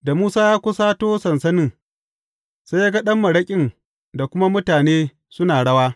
Da Musa ya kusato sansanin, sai ya ga ɗan maraƙin da kuma mutane suna rawa.